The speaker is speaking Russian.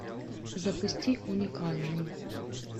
запусти уникальный